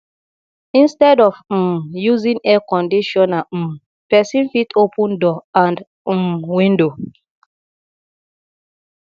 instead of um using air conditioner um person fit open door and um window